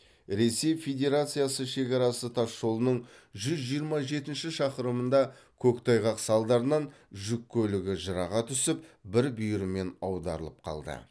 ресей федерациясы шекарасы тасжолының жүз жиырма жетінші шақырымында көктайғақ салдарынан жүк көлігі жыраға түсіп бір бүйірімен аударылып қалды